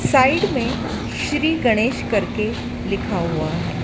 Side में श्री गणेश करके लिखा हुआ है।